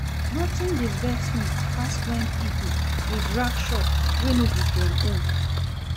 Nothing dey vex me pass when people dey drag shop wey no be dem own